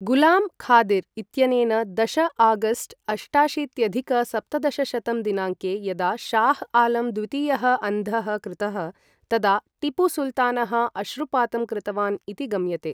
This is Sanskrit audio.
गुलाम् खादिर् इत्यनेन दश आगस्ट् अष्टाशीत्यधिक सप्तदशशतं दिनाङ्के यदा शाह् आलम् द्वितीयः अन्धः कृतः, तदा टीपुसुल्तानः अश्रुपातं कृतवान् इति गम्यते।